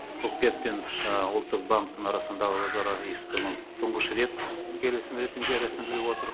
үкімет пен ұлттық банктің арасында өзара іс қимыл тұңғыш рет келісім ретінде рәсімделіп отыр